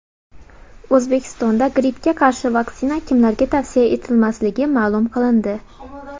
O‘zbekistonda grippga qarshi vaksina kimlarga tavsiya etilmasligi ma’lum qilindi.